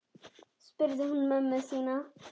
spurði hún mömmu sína.